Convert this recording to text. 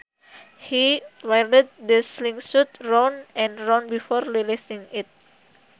He whirled the slingshot round and round before releasing it